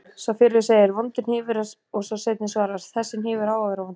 Sá fyrri segir: Vondur hnífur og sá seinni svarar: Þessi hnífur á að vera vondur